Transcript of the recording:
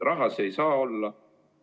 Raha ei saa põhjus olla.